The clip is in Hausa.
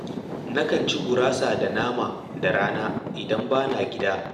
Nakan ci gurasa da nama da rana idan ba na gida